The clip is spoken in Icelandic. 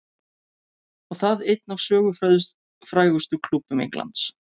Og það einn af sögufrægustu klúbbum Englands.